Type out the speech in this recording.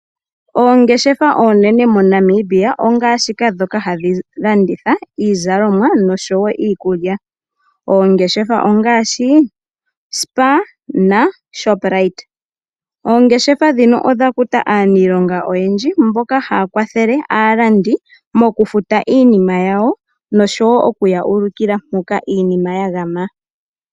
Oongeshefa oonene moNamibia ongaashi ndhoka hadhi landitha iizalomwa nosho wo iikulya. Oongeshefa ongaashi Spar naShoprite. Oongeshefa ndhino odha kuta aaniilonga oyendji mboka haya kwathele aalandi mokufuta iinima yawo nosho wo okuya ulukila mpoka iinima ya gama.